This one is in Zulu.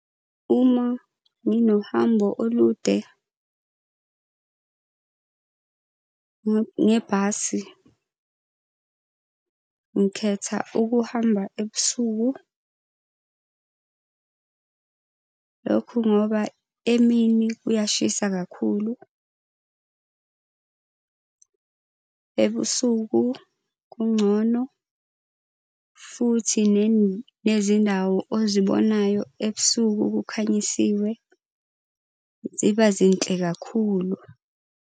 Uma nginohambo olude ngebhasi, ngikhetha ukuhamba ebusuku . Lokhu ngoba emini kuyashisa kakhulu ebusuku kungcono. Futhi nezindawo ozibonayo ebusuku kukhanyisiwe. Ziba zinhle kakhulu.